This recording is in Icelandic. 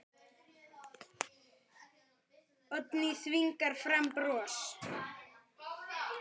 Oddný þvingar fram bros.